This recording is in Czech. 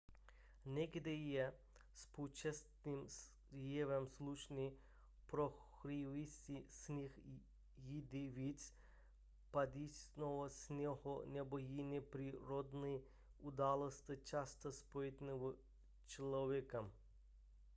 někdy je spouštěcím jevem slunce prohřívající sníh jindy více padajícího sněhu nebo jiné přírodní události často spojené s člověkem